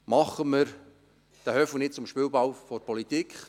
Machen wir den «Höfu» nicht zum Spielball der Politik.